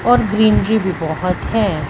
और ग्रीनरी भी बहोत है।